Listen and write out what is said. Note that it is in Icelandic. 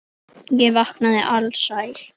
Ég vaknaði alsæll.